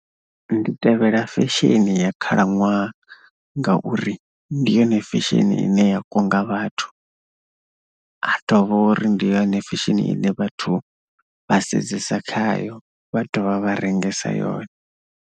Ndi tevhela fesheni ya khalaṅwaha ngauri ndi yone fesheni ine ya kunga vhathu, ha dovha uri ndi ya fesheni ine vhathu vha sedzesa khayo vha dovha vha rengesa yone.